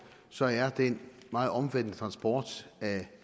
så er den meget omfattende transport af